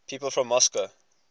people from moscow